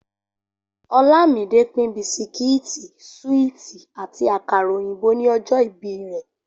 Olámidé pín bisikíìtì, súíìtì àti àkàrà òyìnbó ni ọjọ́ ìbí rẹ̀